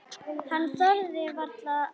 Hann þorði varla að anda.